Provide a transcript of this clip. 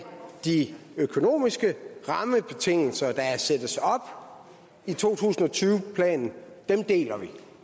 de økonomiske rammebetingelser der sættes i to tusind og tyve planen deler vi